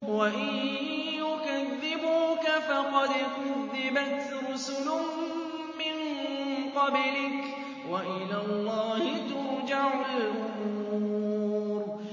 وَإِن يُكَذِّبُوكَ فَقَدْ كُذِّبَتْ رُسُلٌ مِّن قَبْلِكَ ۚ وَإِلَى اللَّهِ تُرْجَعُ الْأُمُورُ